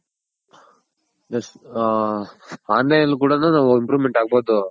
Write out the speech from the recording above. ಹ Online ನಲ್ಲಿ ಕೂಡ ನು ನಾವು Improvement ಆಗ್ಬೋದು